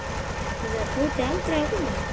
Ætlaði Tóti aldrei að koma?